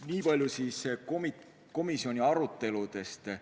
Nii palju siis komisjoni aruteludest.